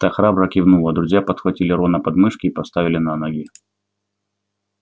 та храбро кивнула друзья подхватили рона под мышки и поставили на ноги